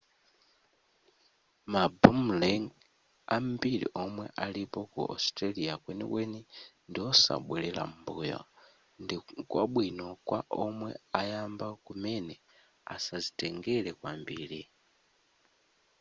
ma boomerang ambiri omwe alipo ku australia kwenikweni ndi osabwerera m'mbuyo ndikwabwino kwa omwe ayamba kumene asazitengere kwambiri